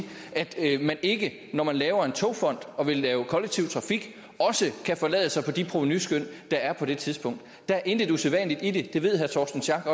at man ikke når man laver en togfond og vil lave kollektiv trafik også kan forlade sig på de provenuskøn der er på det tidspunkt der er intet usædvanligt i det det ved herre torsten schack